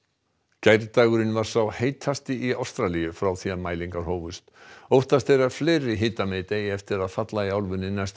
gærdagurinn var sá heitasti í Ástralíu frá því mælingar hófust óttast er að fleiri hitamet eigi eftir að falla í álfunni næstu